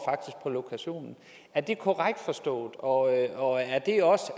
på lokationen er det korrekt forstået og og er det også